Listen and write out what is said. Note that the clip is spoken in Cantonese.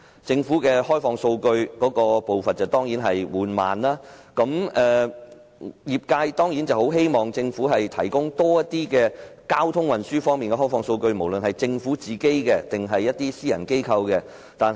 政府開放數據的步伐緩慢，業界當然希望政府提供更多交通運輸的開放數據，無論是政府自己或私人機構掌握的。